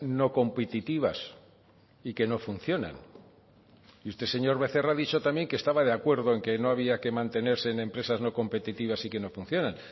no competitivas y que no funcionan y usted señor becerra ha dicho también que estaba de acuerdo en que no había que mantenerse en empresas no competitivas y que no funcionan